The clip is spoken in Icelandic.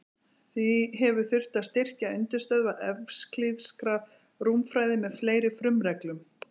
Því hefur þurft að styrkja undirstöður evklíðskrar rúmfræði með fleiri frumreglum.